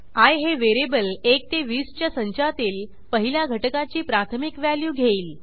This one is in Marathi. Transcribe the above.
आय हे व्हेरिएबल 1 ते 20 च्या संचातील पहिल्या घटकाची प्राथमिक व्हॅल्यू घेईल